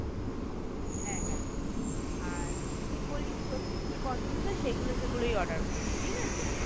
হ্যাঁ হ্যাঁ আর তুই বলিস তোর কি কি পছন্দ সেগুলো সেগুলোই order করবো ঠিক আছে?